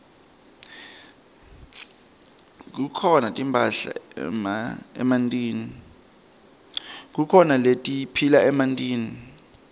kukhona letiphila emantini